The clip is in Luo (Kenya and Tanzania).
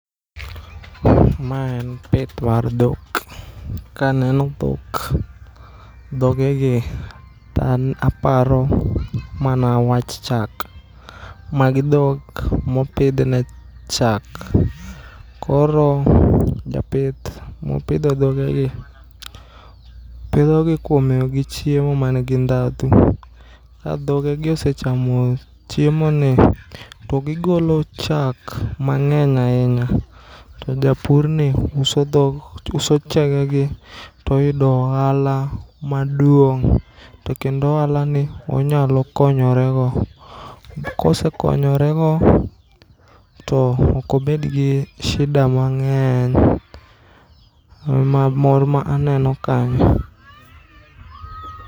Ma en pith mar dhok, kaneno dhok, dhoge gi ta an aparo mana wach chak. Magi dhok mopidh ne chak, koro japith mopidho dhoge gi pidhogi kuom miyogi chiemo man gi dhadhu. Ka dhogegi osechamo chiemo ni, to gigolo chak mang'eny ahinya. To japurni uso chage gi toyudo ohala maduong', to kendo ohala ni onyalo konyore go. Kosekonyore go, to okobed gi shida mang'eny. Uh ma mor ma aneno kanyo.